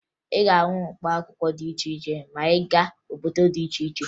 Ị ga-ahụ mkpaakwụkwọ dị iche iche ma ị gaa obodo dị iche iche